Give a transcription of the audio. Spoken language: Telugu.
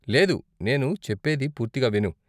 లేదు, నేను చెప్పేది పూర్తిగా విను.